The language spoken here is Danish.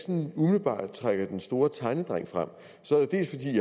umiddelbart trækker den store tegnedreng frem